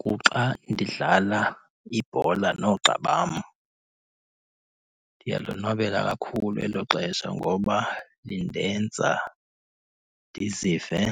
Kuxa ndidlala ibhola noogxa bam. Ndiyalonwabela kakhulu elo xesha ngoba lindenza ndizive